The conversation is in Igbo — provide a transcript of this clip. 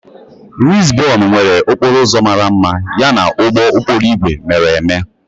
Lizbon nwere okporo ụzọ mara mma yana ụgbọ okporo ígwè mere eme.